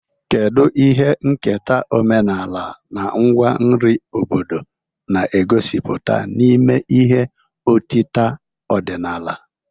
Kedu ihe nketa omenala na ngwa nri obodo na-egosipụta n'ime ihe otita ọdịnala?